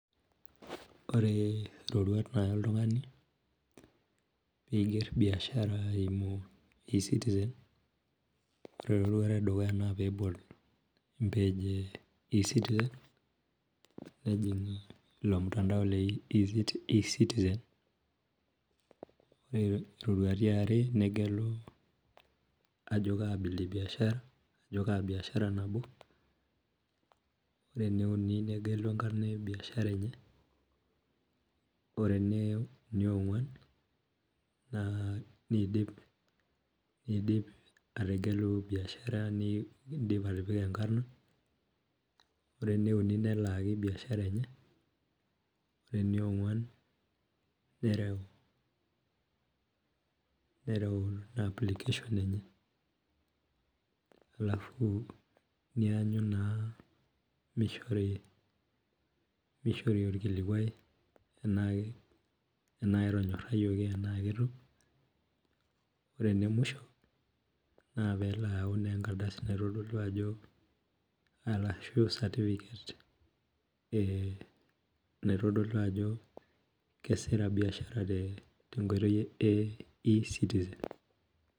Ore roruat naya oltungani peiger biashara eimu e citizen naore tedukuya nebol e citizen nejing ilomtandamo negelu ajo kaa biashara ero eneuni negelo enkarna ebiashara enye ore eneonguan na nidip ategelu biashara nindim atipika enkano ore eneuni nikak biashara ore eneonguan nereu na application enye ashu neanyu na mishori orkulikuai naa ketonyorayieki ana ketanyaki ore enemwisho na peyau na enkardasi ashu satipiket naitodolu ajo keasita biashara tenkoitoi e e citizen.